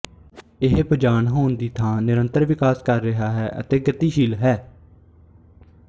ਇਹ ਬੇਜਾਨ ਹੋਣ ਦੀ ਥਾਂ ਨਿਰੰਤਰ ਵਿਕਾਸ ਕਰ ਰਿਹਾ ਹੈ ਅਤੇ ਗਤੀਸ਼ੀਲ ਹੈ